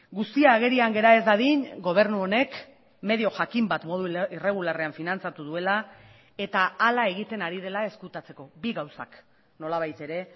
guzti agerian gera ez dadin gobernu honek medio jakin bat modu irregularrean finantzatu duela eta hala egiten ari dela ezkutatzeko bi gauzak nolabait ere